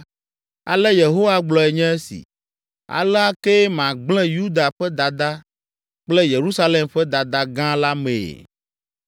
“Ale Yehowa gblɔe nye esi: ‘Alea kee magblẽ Yuda ƒe dada kple Yerusalem ƒe dada gã la mee.